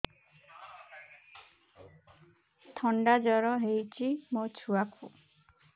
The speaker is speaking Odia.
ଥଣ୍ଡା ଜର ହେଇଚି ମୋ ଛୁଆକୁ